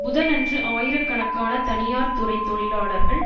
புதனன்று ஆயிரக்கணக்கான தனியார்த் துறை தொழிலாளர்கள்